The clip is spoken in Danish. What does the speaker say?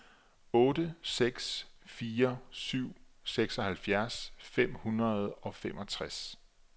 otte seks fire syv seksoghalvfjerds fem hundrede og femogtres